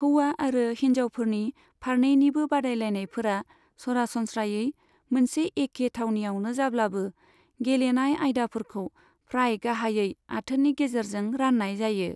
हौवा आरो हिनजावफोरनि फारनैनिबो बादायलायनायफोरा सरासनस्रायै मोनसे एखे थावनियावनो जाब्लाबो, गेलेनाय आयदाफोरखौ फ्राय गाहायै आथोननि गेजेरजों रान्नाय जायो।